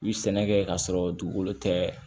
U ye sɛnɛ kɛ k'a sɔrɔ dugukolo tɛ